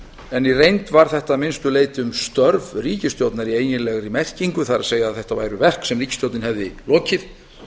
en í reynd var þetta að minnstu leyti um störf ríkisstjórnar í eiginlegri merkingu það er að þetta væru verk sem ríkisstjórnin hefði lokið